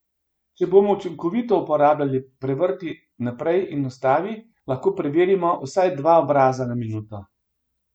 Če bomo učinkovito uporabljali prevrti naprej in ustavi, lahko preverimo vsaj dva obraza na minuto.